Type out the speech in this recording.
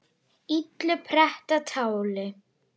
illu pretta táli